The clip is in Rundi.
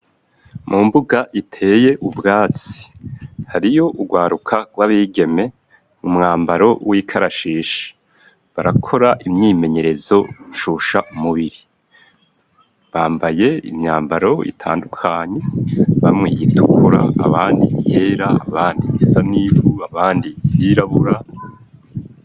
Mu mbuga iteye ubwatsi hariyo urwaruka rw'abigeme mu mwambaro w'ikarashishi barakora imyimenyerezo ncusha umubiri bambaye imyambaro itandukanye bamwiyitukra abandi hera abandi bisa n'ibubaa andi irabura.